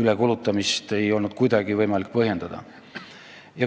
ülekulutamist ei olnud kuidagi võimalik põhjendada.